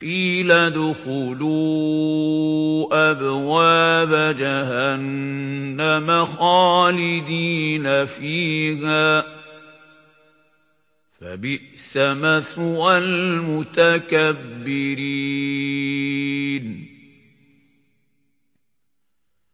قِيلَ ادْخُلُوا أَبْوَابَ جَهَنَّمَ خَالِدِينَ فِيهَا ۖ فَبِئْسَ مَثْوَى الْمُتَكَبِّرِينَ